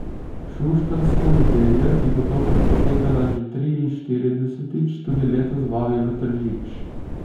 Šuštarska nedelja, ki bo tokrat potekala že triinštiridesetič, tudi letos vabi v Tržič.